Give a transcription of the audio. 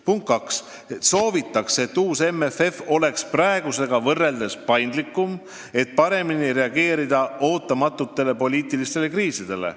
Punkt kaks: soovitakse, et uus MFF oleks paindlikum kui praegune, see võimaldab paremini reageerida ootamatutele poliitilistele kriisidele.